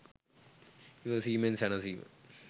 ඉවසීමෙන් සැනසීම